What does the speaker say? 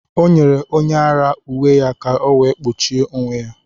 Ọ nyere onye ara uwe ya ka ọ wee kpuchie onwe ya.